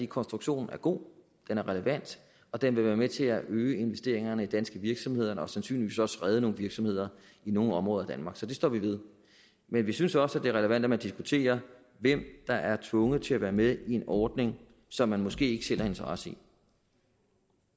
konstruktionen er god den er relevant og den vil være med til at øge investeringerne i danske virksomheder og sandsynligvis også redde nogle virksomheder i nogle områder af danmark så det står vi ved men vi synes også det er relevant at man diskuterer hvem der er tvunget til at være med i en ordning som man måske ikke selv har interesse i